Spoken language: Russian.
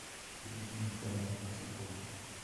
людмилу михайловну архипову